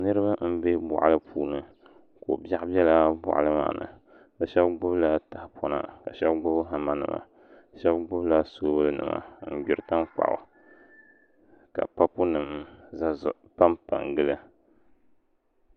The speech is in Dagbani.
Niraba n bɛ boɣali puuni ko biɛɣu biɛla boɣali maa ni bi shab gbubila tahapona ka shab gbuni hama nima shab gbubila soobuli nima n gbiri tankpaɣu ka papu nim panpa gili